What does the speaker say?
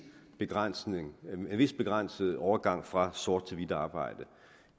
begrænset vis begrænset overgang fra sort til hvidt arbejde